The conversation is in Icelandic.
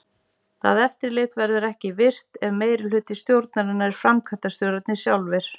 Það eftirlit verður ekki virkt ef meirihluti stjórnarinnar eru framkvæmdastjórarnir sjálfir.